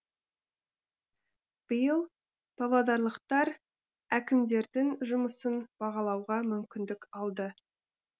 биыл павлодарлықтар әкімдердің жұмысын бағалауға мүмкіндік алды